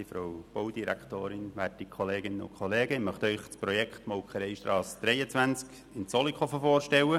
der BaK. Ich möchte Ihnen das Projekt Molkereistrasse 23 in Zollikofen vorstellen.